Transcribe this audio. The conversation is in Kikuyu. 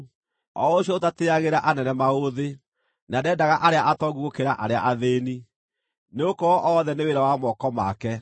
o ũcio ũtatĩagĩra anene maũthĩ, na ndendaga arĩa atongu gũkĩra arĩa athĩĩni, nĩgũkorwo othe nĩ wĩra wa moko make?